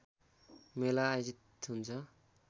मेला आयोजित हुन्छ